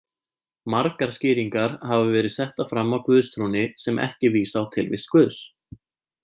Margar skýringar hafa verið settar fram á guðstrúnni sem ekki vísa á tilvist Guðs.